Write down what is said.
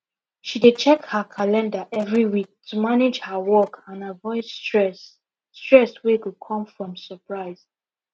she dey check her calendar every week to manage her work and avoid stress stress wey go come from surprise